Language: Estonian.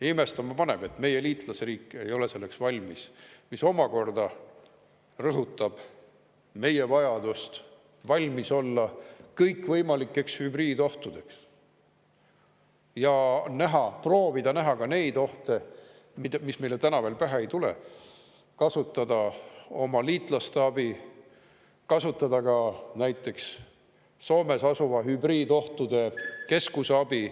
Imestama paneb, et meie liitlasriik ei ole selleks valmis, mis omakorda rõhutab meie vajadust valmis olla kõikvõimalikeks hübriidohtudeks ja näha, proovida näha ka neid ohte, mis meile täna veel pähe ei tule, kasutada oma liitlaste abi, kasutada ka näiteks Soomes asuva hübriidohtude keskuse abi.